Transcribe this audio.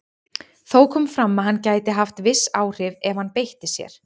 Þó kom fram að hann gæti haft viss áhrif ef hann beitti sér.